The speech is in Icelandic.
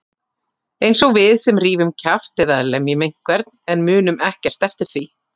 Einsog við sem rífum kjaft eða lemjum einhvern en munum ekkert eftir því.